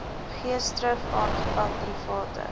geesdrif aangepak private